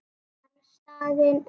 Pabbi var staðinn upp.